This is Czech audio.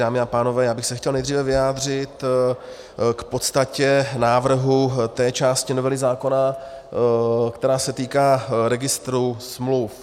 Dámy a pánové, já bych se chtěl nejdříve vyjádřit k podstatě návrhu té části novely zákona, která se týká registru smluv.